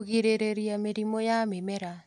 Kũgirĩrĩria mĩrimũ ya mĩmera